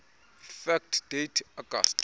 fact date august